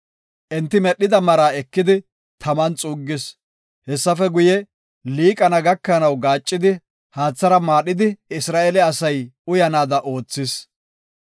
Enti medhida maraa ekidi, taman xuuggis. Hessafe guye, liiqana gakanaw gaaccidi haathara maadhidi, Isra7eele asay uyanaada oothis.